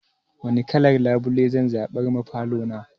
Wani kalan labule zan zaɓar ma falo na?